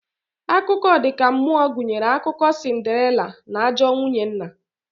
Akụkọ ọ dika mmuo gunyere akụkọ sinderila na ajọọ nwunye nna